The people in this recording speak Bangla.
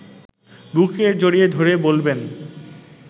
বুকে জড়িয়ে ধরে বলবেন